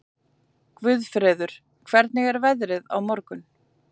Guðfreður, hvernig er veðrið á morgun?